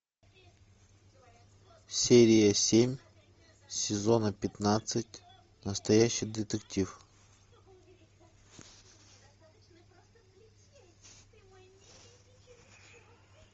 серия семь сезона пятнадцать настоящий детектив